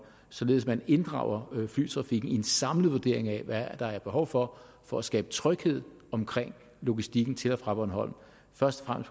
således at man inddrager flytrafikken i en samlet vurdering af hvad der er behov for for at skabe tryghed omkring logistikken til og fra bornholm først og